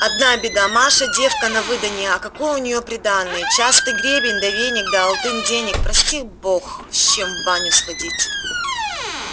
одна беда маша девка на выданье а какое у ней приданое частый гребень да веник да алтын денег прости бог с чем в баню сходить